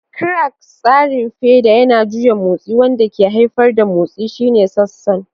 Crank: Tsarin feda yana juya motsi wanda ke haifar da motsi shine sassansa.